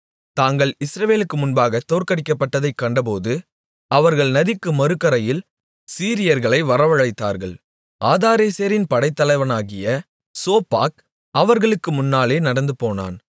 தாங்கள் இஸ்ரவேலுக்கு முன்பாக தோற்கடிக்கப்பட்டதைக் கண்டபோது அவர்கள் நதிக்கு மறுகரையில் சீரியர்களை வரவழைத்தார்கள் ஆதாரேசரின் படைத்தலைவனாகிய சோப்பாக் அவர்களுக்கு முன்னாலே நடந்துபோனான்